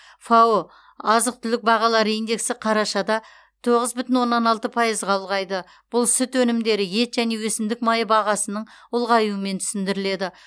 фао азық түлік бағалары индексі қарашада тоғыз бүтін оннан алты пайызға ұлғайды бұл сүт өнімдері ет және өсімдік майы бағасының ұлғаюымен түсіндіріледі